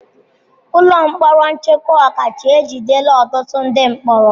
Ụlọ mkpọrọ nchekwa ọkacha ejidela ọtụtụ ndị mkpọrọ.